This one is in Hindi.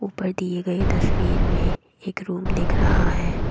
ऊपर दिए गए तस्वीर में एक रूम दिख रहा है।